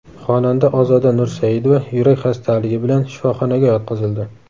Xonanda Ozoda Nursaidova yurak xastaligi bilan shifoxonaga yotqizildi.